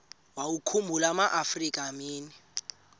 wawakhumbul amaafrika mini